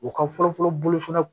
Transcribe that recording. U ka fɔlɔ-fɔlɔ bolo fana